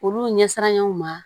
Olu ɲɛsinn'an ye u ma